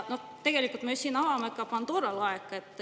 Tegelikult me ju avame siin Pandora laeka.